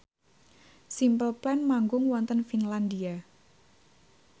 Simple Plan manggung wonten Finlandia